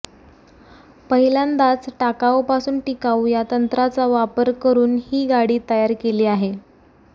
पहिल्यांदाच टाकाऊपासून टिकाऊ या तंत्राचा वापर करून ही गाडी तयार केली आहे